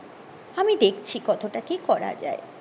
আমি দেখছি কতটা কি করাযায়